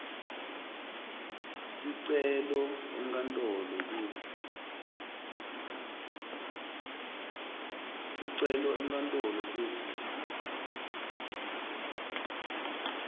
sicelo enkantolo kutsi